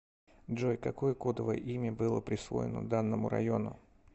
джой какое кодовое имя было присвоено данному району